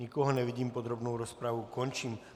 Nikoho nevidím, podrobnou rozpravu končím.